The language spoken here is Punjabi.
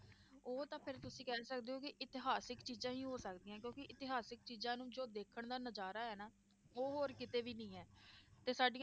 ਉਹ ਤਾਂ ਤੁਸੀਂ ਫਿਰ ਕਹਿ ਸਕਦੇ ਹੋ ਕਿ ਇਤਿਹਾਸਕ ਚੀਜ਼ਾਂ ਹੀ ਹੋ ਸਕਦੀਆਂ ਕਿਉਂਕਿ ਇਤਿਹਾਸਕ ਚੀਜ਼ਾਂ ਨੂੰ ਜੋ ਦੇਖਣ ਦਾ ਨਜ਼ਾਰਾ ਹੈ ਨਾ ਉਹ ਹੋਰ ਕਿਤੇ ਵੀ ਨੀ ਹੈ ਤੇ ਸਾਡੀਆਂ